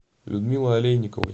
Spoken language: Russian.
людмилой олейниковой